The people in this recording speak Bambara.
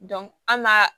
an ga